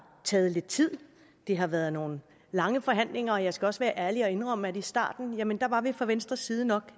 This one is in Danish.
taget lidt tid det har været nogle lange forhandlinger og jeg skal også være ærlig og indrømme at vi i starten fra venstres side nok